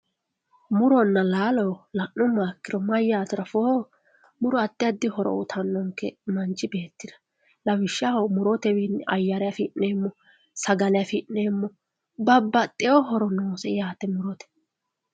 Muronna laalo la'nuummoha ikkiro mayyate afootto muro addi addi horo uyittanonke manchi beettira lawishshaho murotewinni ayare affi'neemmo sagale affi'neemmo babbaxxewo horo noose yaate murote.